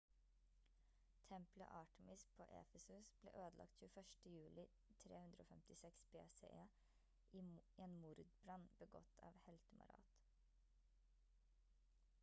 tempelet artemis på efesus ble ødelagt 21. juli 356 bce i en mordbrann begått av heltemarat